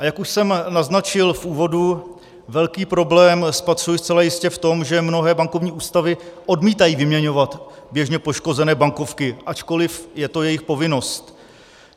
A jak už jsem naznačil v úvodu, velký problém spatřuji zcela jistě v tom, že mnohé bankovní ústavy odmítají vyměňovat běžně poškozené bankovky, ačkoliv je to jejich povinnost.